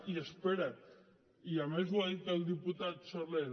i espera’t i a més ho ha dit el diputat soler